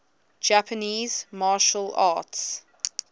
japanese martial arts